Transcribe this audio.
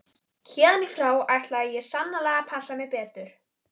Héðan í frá ætlaði ég sannarlega að passa mig betur.